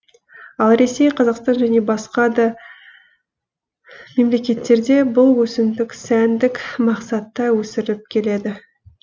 ал ресей қазақстан және басқа да мемлекеттерде бұл өсімдік сәндік мақсатта өсіріліп келеді